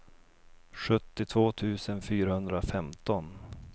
sjuttiotvå tusen fyrahundrafemton